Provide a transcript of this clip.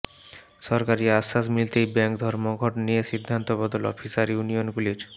সরকারি আশ্বাস মিলতেই ব্যাঙ্ক ধর্মঘট নিয়ে সিদ্ধান্ত বদল অফিসার ইউনিয়নগুলির